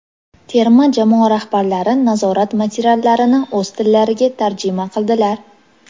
Terma jamoa rahbarlari nazorat materiallarini o‘z tillariga tarjima qiladilar.